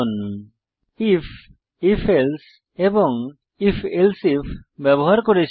if if else এবং if else if ব্যবহার করেছি